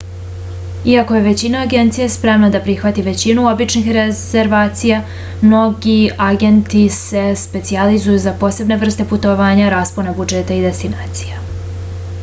iako je većina agencija spremna da prihvati većinu običnih rezervacija mnogi agenti se specijalizuju za posebne vrste putovanja raspone budžeta i destinacije